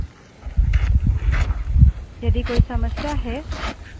यह log files Linux में आमतौर पर इस्तेमाल होती है